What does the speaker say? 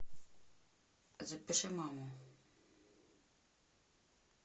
запиши маму